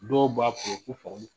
Dɔw b'a